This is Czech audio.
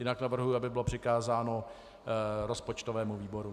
Jinak navrhuji, aby bylo přikázáno rozpočtovému výboru.